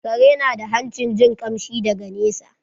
Kare na da hancin jin kamshi daga nesa